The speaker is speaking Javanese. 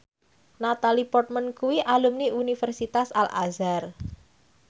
Natalie Portman kuwi alumni Universitas Al Azhar